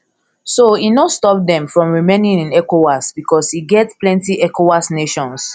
so e no stop dem from remaining in ecowas bicos e get plenty ecowas nations